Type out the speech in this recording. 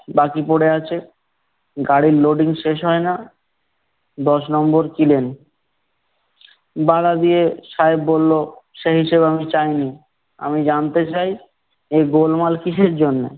বাকি পরে আছে, গাড়ির loading শেষ হয় না, দশ নম্বর । বাধা দিয়ে, সাহেব বললো, সেই হিসেব আমি চাইনি। আমি জানতে চাই, এই গোলমাল কিসের জন্য?